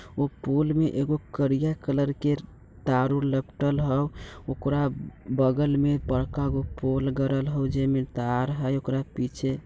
वो पोल में एगो करिया कलर के तारों लपटल हौ ओकरा बगल में बड़का गो पोल गड़ल हो जय में तार हय ओकरा पीछे।